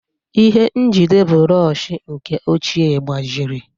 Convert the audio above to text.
Ihe njide bụrọshị nke ochie gbajiri.